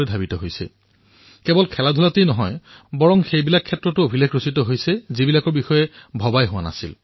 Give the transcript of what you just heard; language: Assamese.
ভাৰতে কেৱল খেলতেই নহয় এনেকুৱা কিছুমান ক্ষেত্ৰতো নতুন অভিলেখ সৃষ্টি কৰিছে যাৰ বিষয়ে কেতিয়াও চিন্তা কৰা হোৱা নাছিল